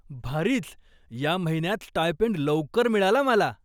भारीच! या महिन्यात स्टायपेंड लवकर मिळाला मला!